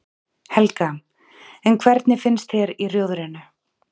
Helga: En hvernig finnst þér í Rjóðrinu?